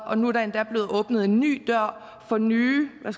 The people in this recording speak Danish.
og nu er der endda blevet åbnet en ny dør for nye hvad